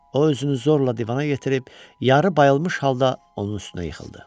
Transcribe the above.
O özünü zorla divana yetirib, yarı bayılmış halda onun üstünə yıxıldı.